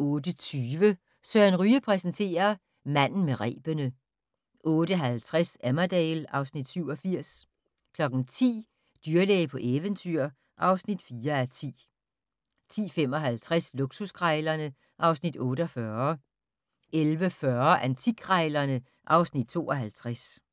08:20: Søren Ryge præsenterer: Manden med rebene 08:50: Emmerdale (Afs. 87) 10:00: Dyrlæge på eventyr (4:10) 10:55: Luksuskrejlerne (Afs. 48) 11:40: Antikkrejlerne (Afs. 52)